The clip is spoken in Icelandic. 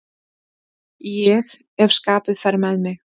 Ég ef skapið fer með mig.